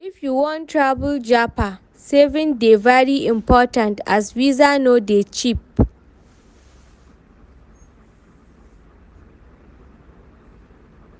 If you wan travel japa, saving dey very important as visa no dey cheap.